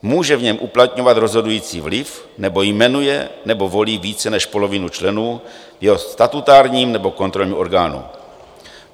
Může v něm uplatňovat rozhodující vliv nebo jmenuje nebo volí více než polovinu členů jeho statutárního nebo kontrolního orgánu.